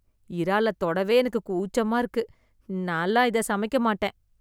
இறால தொடவே எனக்கு கூச்சமா இருக்கு. நாலாம் இத சமைக்க மாட்டேன்.